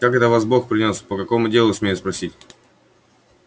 как это вас бог принёс по какому делу смею спросить